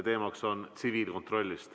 Teemaks on tsiviilkontroll.